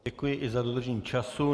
Děkuji i za dodržení času.